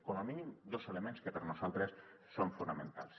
com a mínim dos elements que per nosaltres són fonamentals